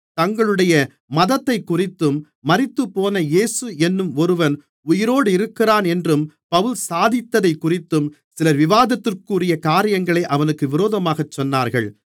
தங்களுடைய மதத்தைக்குறித்தும் மரித்துப்போன இயேசு என்னும் ஒருவன் உயிரோடிருக்கிறானென்று பவுல் சாதித்ததைக்குறித்தும் சில விவாதத்திற்குரிய காரியங்களை அவனுக்கு விரோதமாகச் சொன்னார்கள்